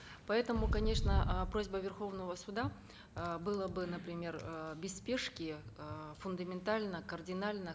поэтому конечно э просьба верховного суда э было бы например э без спешки э фундаментально кардинально